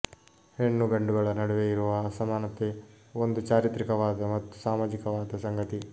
ಹೆಣ್ಣು ಗಂಡುಗಳ ನಡುವೆ ಇರುವ ಅಸಮಾನತೆ ಒಂದು ಚಾರಿತ್ರಿಕವಾದ ಮತ್ತು ಸಾಮಾಜಿಕವಾದ ಸಂಗತಿ